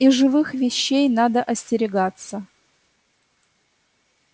и живых вещей надо остерегаться